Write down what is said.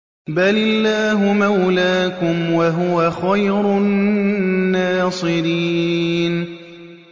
بَلِ اللَّهُ مَوْلَاكُمْ ۖ وَهُوَ خَيْرُ النَّاصِرِينَ